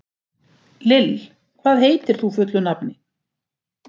Lill, hvað heitir þú fullu nafni?